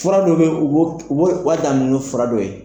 Fura dɔ ben u b'o, u ba ta ni fura dɔ ye.